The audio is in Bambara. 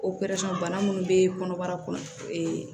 bana minnu bɛ kɔnɔbara kɔnɔ